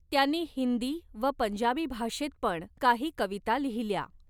त्यांनी हिंदी व पंजाबी भाषेत पण काही कविता लिहिल्या.